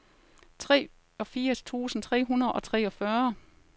treogfirs tusind tre hundrede og treogfyrre